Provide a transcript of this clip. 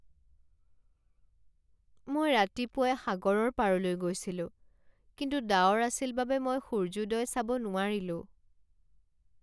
মই ৰাতিপুৱাই সাগৰৰ পাৰলৈ গৈছিলো, কিন্তু ডাৱৰ আছিল বাবে মই সূৰ্যোদয় চাব নোৱাৰিলোঁ।